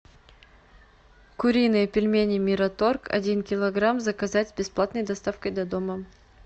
куриные пельмени мираторг один килограмм заказать с бесплатной доставкой до дома